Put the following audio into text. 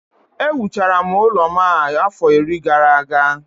Ewuchara m ụlọ m a afọ iri gara aga